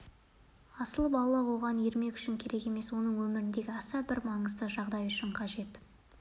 асыл балық оған ермек үшін керек емес оның өміріндегі аса бір маңызды жағдай үшін қажет